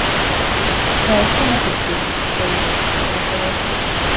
Það er svona stutt síðan, segi ég til að segja eitthvað.